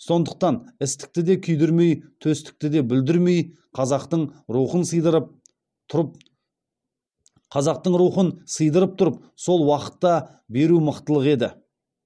сондықтан істікті де күйдірмей төстікті де бүлдірмей қазақтың рухын сыйдырып тұрып сол уақытта беру мықтылық еді